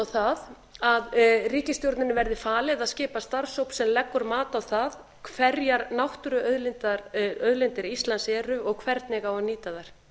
það að ríkisstjórninni verði falið að skipa starfshóp sem leggur mat á það hverjar náttúruauðlindir íslands eru og hvernig á að nýta þær